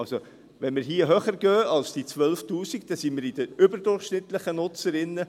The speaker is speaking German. Also: Wenn wir hier höher gehen als diese 12’000 Franken, dann sind wir bei den überdurchschnittlichen Nutzern.